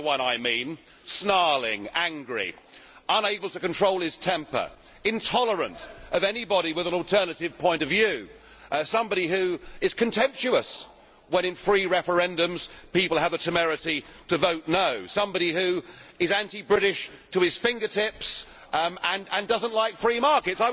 You know the one I mean snarling, angry, unable to control his temper, intolerant of anybody with an alternative point of view, somebody who is contemptuous when, in free referendums, people have the temerity to vote no', somebody who is anti British to his fingertips and does not like free markets?